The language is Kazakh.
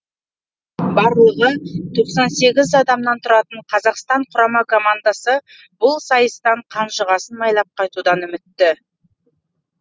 барлығы тоқсан сегіз адамнан тұратын қазақстан құрама командасы бұл сайыстан қанжығасын майлап қайтудан үмітті